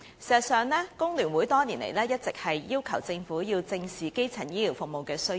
事實上，工聯會多年來一直要求政府正視基層醫療服務的需要。